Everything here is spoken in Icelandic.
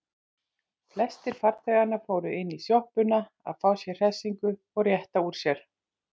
Flestir farþeganna fóru inní sjoppuna að fá sér hressingu og rétta úr sér.